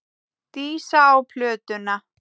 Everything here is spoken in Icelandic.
Dísa á plötuna.